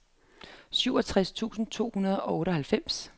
syvogtredive tusind to hundrede og otteoghalvfems